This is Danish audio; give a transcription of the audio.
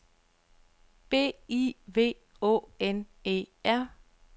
B I V Å N E R